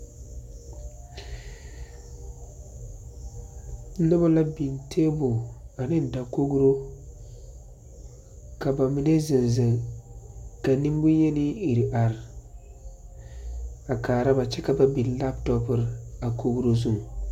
Noba la biŋ tebol ne dakogro ka bamine zeŋ zeŋ ka nemboyeni iri are a kaara ba kyɛ ka ba biŋ labtɔpere a kogri zu.